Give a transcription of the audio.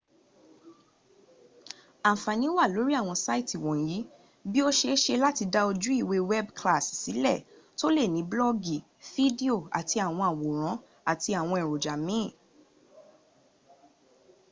anfani wa lori awon saiti wonyi bii o seese lati da oju iwe weebu kilasi sile to le ni blogi fidio ati awon aworan ati awon eroja miin